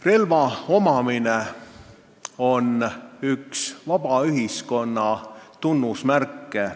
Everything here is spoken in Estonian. Relva omamine on üks vaba ühiskonna tunnusmärke.